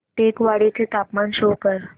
टेकवाडे चे तापमान शो कर